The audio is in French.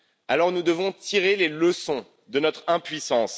Alors, nous devons tirer les leçons de notre impuissance.